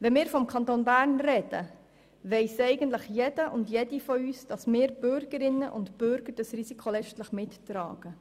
Wenn wir vom Kanton Bern sprechen, weiss eigentlich jeder und jede von uns, dass wir Bürgerinnen und Bürger das Risiko letztlich mittragen.